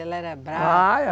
Ela era brava? Ah,